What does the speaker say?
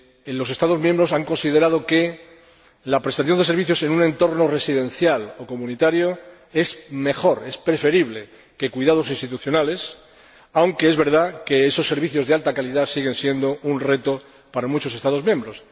Los Estados miembros han considerado que la prestación de servicios en un entorno residencial o comunitario es mejor, es preferible a los cuidados institucionales, aunque es verdad que esos servicios de alta calidad siguen siendo un reto para muchos Estados miembros.